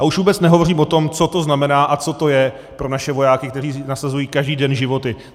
A už vůbec nehovořím o tom, co to znamená a co to je pro naše vojáky, kteří nasazují každý den život.